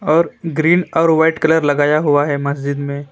और ग्रीन और white colour लगाया हुआ है मस्जिद में।